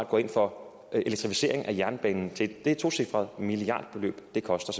går ind for elektrificering af jernbanen det et tocifret milliardbeløb det koster